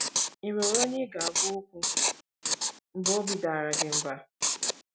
Ì nwere onye ị ga - agwa okwu mgbe obi dara gị mba?